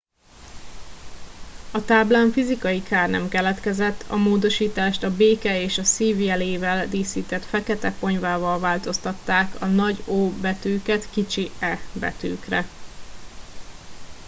a táblán fizikai kár nem keletkezett a módosítást a béke és a szív jelével díszített fekete ponyvával változtatták a nagy o betűket kicsi e betűkre